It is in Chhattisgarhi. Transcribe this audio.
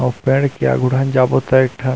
आऊ पेड़ के आगू डहन जाबो त एक ठन--